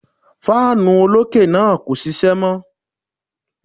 Fáànù olókè náà kò ṣiṣẹ́ mọ́.